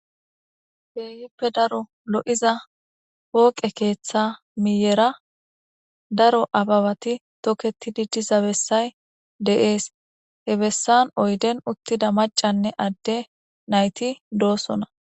Heeyippe daro lo7iza wooqe keeththa miyera daro ababati toketidi diza bessay de7ees he bessan oyden uttida macanne adde nayti doosona